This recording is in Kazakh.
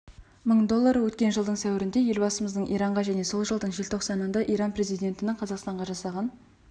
мың доллары өткен жылдың сәуірінде елбасымыздың иранға және сол жылдың желтоқсанында иран президентінің қазақстанға жасаған